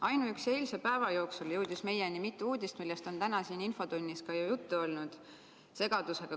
Ainuüksi eilse päeva jooksul jõudis meieni mitu uudist, millest on täna siin infotunnis ka juttu olnud.